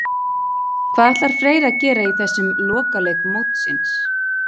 Hvað ætlar Freyr að gera í þessum lokaleik mótsins?